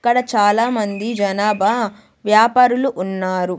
ఇక్కడ చాలామంది జనాభా వ్యాపారులు ఉన్నారు.